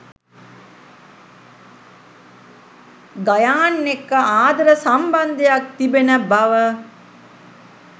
ගයාන් එක්‌ක ආදර සම්බන්ධයක්‌ තිබෙන බව.